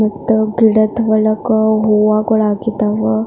ಮತ್ತೆ ಗಿಡ ತಗೋಳಾಕು ಹೂವಗಳು ಆಗಿದ್ದಾವೆ.